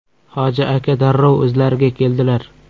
Hoji aka darrov o‘zlariga keldilar.